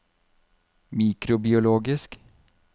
mikrobiologisk